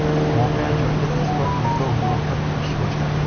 Voqea joyida tezkor tergov guruhi ish boshladi.